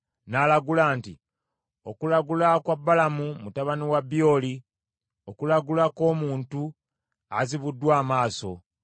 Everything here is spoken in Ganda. n’alagula nti, “Okulagula kwa Balamu mutabani wa Byoli, okulagula kw’omuntu azibuddwa amaaso,